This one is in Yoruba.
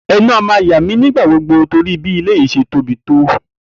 E̩nu a máa yà mí nígbà gbogbo torí bí ilé yìí s̩e tóbi tó